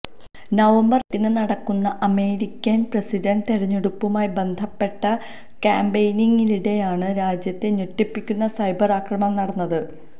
November എട്ടിന് നടക്കുന്ന American president തെരഞ്ഞെടുപ്പുമായി ബന്ധപ്പെട്ട കാമ്പയിനിംഗിനിടെയാണ് രാജ്യത്തെ ഞെട്ടിപ്പിക്കുന്ന സൈബര് ആക്രമണം നടന്നത്